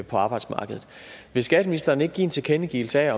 på arbejdsmarkedet vil skatteministeren ikke give en tilkendegivelse af at